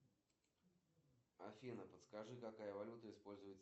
салют известный фильм с участием алена делона